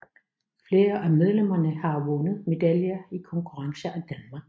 Flere af medlemmerne har vundet medaljer i konkurrencer i Danmark